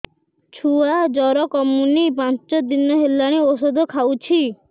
ଛୁଆ ଜର କମୁନି ପାଞ୍ଚ ଦିନ ହେଲାଣି ଔଷଧ ଖାଉଛି